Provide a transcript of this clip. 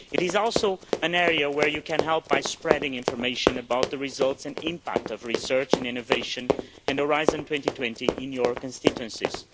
It is also an area where you can help by spreading information about the results and impact of research and innovation and Horizon 2020 in your constituencies.